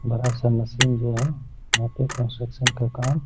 बड़ा-सा मशीन है यहाँ पे कन्स्ट्रक्शन का काम --